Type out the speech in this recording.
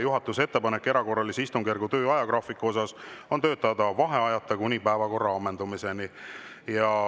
Juhatuse ettepanek erakorralise istungjärgu töö ajagraafiku kohta on järgmine: töötada vaheajata kuni päevakorra ammendumiseni.